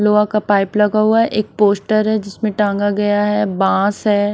लोहा का पाइप लगा हुआ एक पोस्ट है जिसमें टांगा गया है बाँस है।